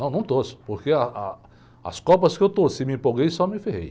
Não, não torço, porque ah, ah, as Copas que eu torci, me empolguei, só me ferrei.